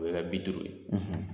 O bɛ kɛ bi duuru ye.